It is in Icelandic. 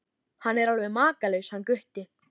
Hann er alveg makalaus hann Gutti.